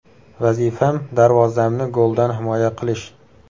Vazifam darvozamni goldan himoya qilish.